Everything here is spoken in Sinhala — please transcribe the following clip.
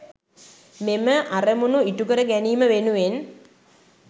මෙම අරමුණු ඉටු කර ගැනීම වෙනුවෙන්